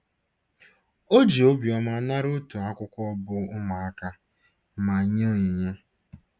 O ji obiọma nara otu akwụkwọ bụ́ Ụmụaka* ma nye onyinye.